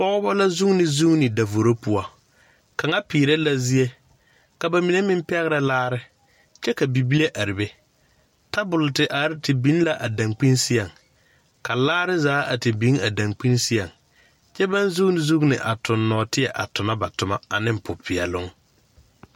Pɔɔbɔ la zuune zuune davoro poɔ kaŋa peerɛ la zie ka ba mine meŋ pɛgrɛ laare kyɛ ka bibile are be tabol te biŋ la a dankpin seɛŋ ka laare zaa a te biŋ a dankpin seɛŋ kyɛ baŋ zuune zuune a toŋ nɔɔteɛ a tonɔ ba tomma aneŋ popeɛloŋ.